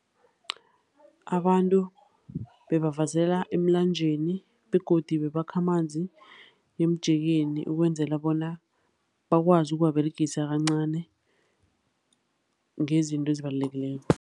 Abantu bebavasela emlanjeni begodu bebakha amanzi emjekeni ukwenzela bona bakwazi ukuwaberegisa kancani ngezinto ezibalulekileko.